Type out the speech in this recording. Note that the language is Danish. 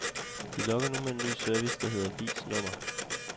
De lokker nu med en ny service, der hedder vis nummer.